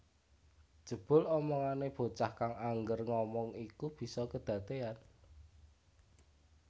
Jebul omongane bocah kang angger ngomong iku bisa kedadean